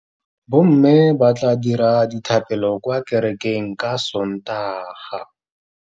Bommê ba tla dira dithapêlô kwa kerekeng ka Sontaga.